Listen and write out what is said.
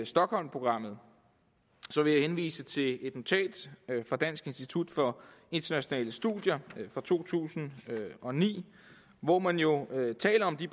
stockholmprogrammet vil jeg henvise til et notat fra dansk institut for internationale studier fra to tusind og ni hvor man jo taler om de